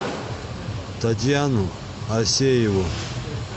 татьяну асееву